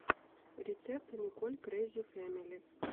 рецепт николь крэзи фэмили